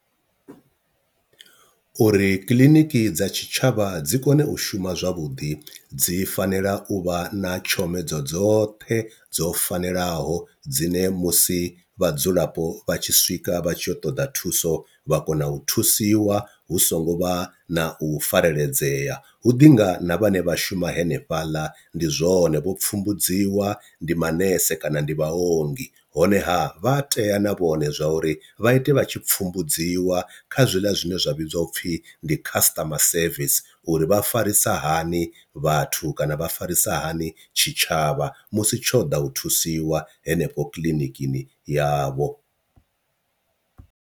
Uri kiḽiniki dza tshitshavha dzi kone u shuma zwavhuḓi dzi fanela u vha na tshomedzo dzoṱhe dzo fanelaho dzine musi vhadzulapo vha tshi swika vha tshi yo ṱoḓa thuso vha kona u thusiwa hu songo vha na u fareledzea, hu ḓi ngana vhane vha shuma henefhaḽa ndi zwone vho pfumbudziwa ndi manese kana ndi vhaongi honeha vha a tea na vhone zwa uri vha ite vha tshi pfumbudziwa kha zwiḽa zwine zwa vhidziwa upfhi ndi customer service, uri vha farisa hani vhathu kana vha farisa hani tshitshavha musi tsho ḓa u thusiwa henefho kiḽinikini yavho.